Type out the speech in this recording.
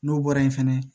N'o bɔra yen fɛnɛ